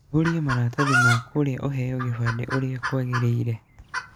Ihũria maratathi ma kũria ũheo kĩbandĩ ũrĩa kwagĩrĩire.